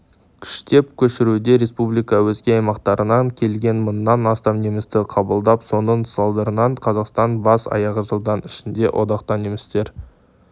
күштеп көшіруде республика өзге аймақтарынан келген мыңнан астам немісті қабылдап соның салдарынан қазақстан бас-аяғы жылдың ішінде одақта немістер